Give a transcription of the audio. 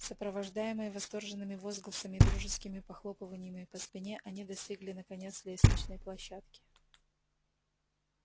сопровождаемые восторженными возгласами и дружескими похлопываниями по спине они достигли наконец лестничной площадки